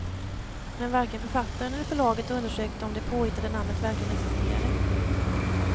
Men varken författaren eller förlaget undersökte om det påhittade namnet verkligen existerade.